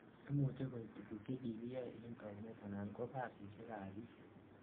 imuchei koib tuguk chekikiyoe en taunet anan ko kasisiek ab biik